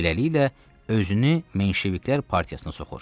Beləliklə, özünü menşeviklər partiyasına soxur.